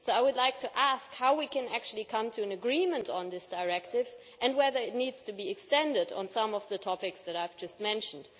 I would like to ask how we can come to an agreement on this directive and whether it needs to be extended in relation to some of the topics I have just mentioned.